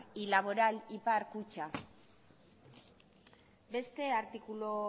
y laboral ipar kutxa beste artikulu